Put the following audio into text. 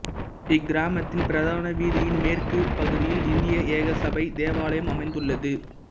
இக்கிராமத்தின் பிரதான வீதியின் மேற்கு பகுதியில் இந்திய ஏக சபை தேவாலயம் அமைந்துள்ளது